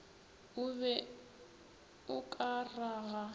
o be o ka raga